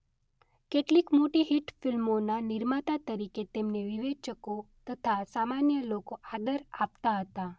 કેટલીક મોટી હિટ ફિલ્મોના નિર્માતા તરીકે તેમને વિવેચકો તથા સામાન્ય લોકો આદર આપતા હતા.